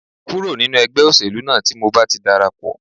Kúrò nínú ẹgbẹ́ òṣèlú náà tí mo bá ti dara pọ̀